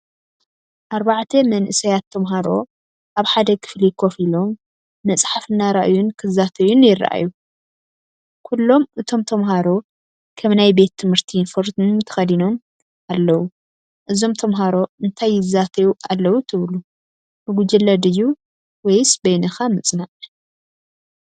ኣርባዕተ መንእሰያት ተማሃሮ ኣብ ሓደ ክፍሊ ኮፍ ኢሎም፡ መጽሓፍ እናረኣዩን ክዛተዩን ይረኣዩ። ኩሎም እቶም ተማሃሮ ከም ናይ ቤት ትምህርቲ ዩኒፎርም ተኸዲኖም ኣለዉ። እዞም ተምሃሮ እንታይ ይዛተዩ ኣለዉ ትብሉ? ብጉጅለ ድዩ ወይስ በይንኻ ምጽናዕ?